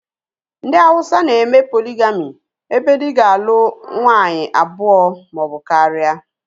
Ndị Hauwsa na-eme poligami ebe dị ga-alụ nwaanyị abụọ maọbụ karịa